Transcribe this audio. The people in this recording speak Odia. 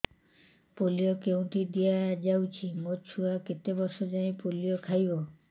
ପୋଲିଓ କେଉଁଠି ଦିଆଯାଉଛି ମୋ ଛୁଆ କେତେ ବର୍ଷ ଯାଏଁ ପୋଲିଓ ଖାଇବ